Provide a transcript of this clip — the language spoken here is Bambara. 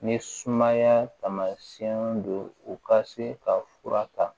Ni sumaya taamasiyɛnw do u ka se ka fura ta